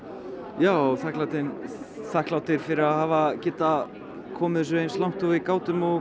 já og þakklæti þakklæti fyrir að hafa getað komið þessu eins langt og við gátum og